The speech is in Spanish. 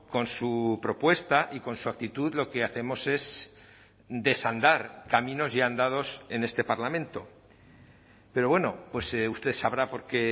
con su propuesta y con su actitud lo que hacemos es desandar caminos ya andados en este parlamento pero bueno pues usted sabrá por qué